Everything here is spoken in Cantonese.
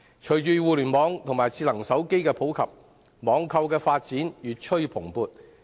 隨着互聯網及智能手機不斷普及，網購的發展越趨蓬勃。